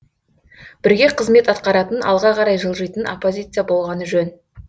бірге қызмет атқаратын алға қарай жылжитын оппозиция болғаны жөн